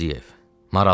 Marallarım.